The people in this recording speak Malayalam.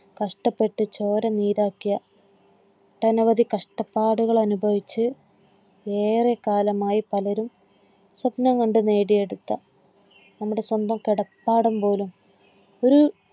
കഷ്ടപ്പെട്ട് ചോര നീരാക്കിയ ഒട്ടനവധി കഷ്ടപ്പാടുകൾ അനുഭവിച്ച് ഏറെക്കാലമായി പലരും സ്വപ്നം കണ്ട് നേടി എടുത്ത നമ്മുടെ സ്വന്തം കിടപ്പാടം പോലും ഒരു